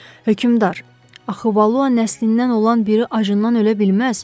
Hökümdar, axı Valua nəslindən olan biri acından ölə bilməz.